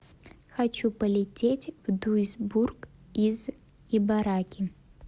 хочу полететь в дуйсбург из ибараки